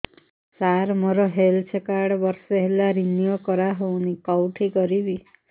ସାର ମୋର health card ବର୍ଷେ ହେଲା ରିନିଓ କରା ହଉନି କଉଠି କରିବି